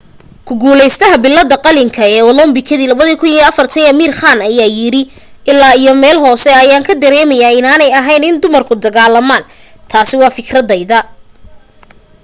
ku guulaystaha billadda qalinka ee olambikadii 2004 amir khan ayaa yiri ilaa iyo meel hoose ayaa ka dareemayaa inaanay ahayn in dumarku dagaalamaan. taasi waa fikradayda.